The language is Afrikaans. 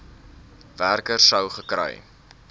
werker sou gekry